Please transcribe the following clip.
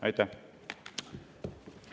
Aitäh!